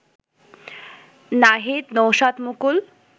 Nahid Naushad Mukul